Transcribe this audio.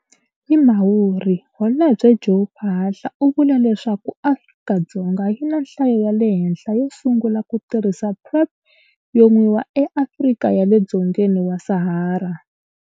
Hi Mhawuri, Holobye Joe Phaahla u vule leswaku Afrika-Dzonga yi na nhlayo ya le henhla yo sungula ku tirhisa PrEP yo nwiwa eAfrika ya le dzongeni wa Sahara.